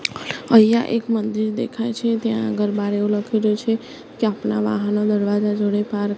અહિયા એક મંદિર દેખાય છે ત્યાં આગળ બારે એવુ લખેલુ છે કે અપના વાહન આ દરવાજા જોડે પાર્ક --